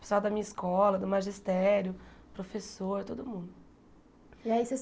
Pessoal da minha escola, do magistério, professor, todo mundo. E aí vocês